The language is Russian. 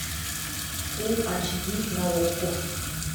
фул ач ди на окко